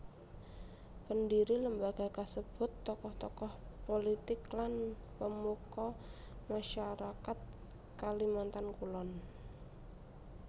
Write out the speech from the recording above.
Pendhiri lembaga kasebut tokoh tokoh pulitik lan pemuka masyarakat Kalimantan Kulon